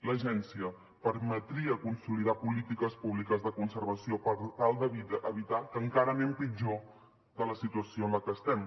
l’agència permetria consolidar polítiques públiques de conservació per tal d’evitar que encara anem pitjor de la situació en la qual estem